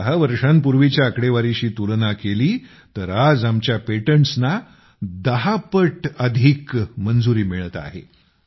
10 वर्षांपूर्वीच्या आकडेवारीशी तुलना केली तर आज आमच्या पेटंटसना 10 पट अधिक मंजुरी मिळत आहे